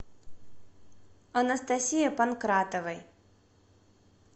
анастасии панкратовой